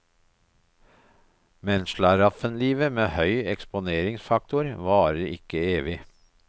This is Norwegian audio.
Men slaraffenlivet med høy eksponeringsfaktor varer ikke evig.